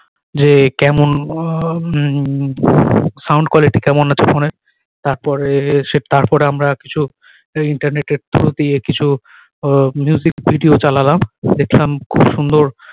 যে কেমন অয়াহ উম sound quality কেমন আছে ফোন এর তার পরে সে তার পরে আমরা কিছু internet এর through দিয়ে কিছু আহ music video চালালাম দেখলাম খুব সুন্দর